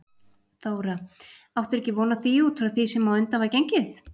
Þóra: Áttirðu ekki von á því út frá því sem á undan var gengið?